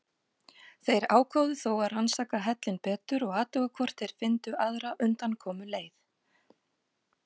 Þeir ákváðu þó að rannsaka hellinn betur og athuga hvort þeir fyndu aðra undankomuleið.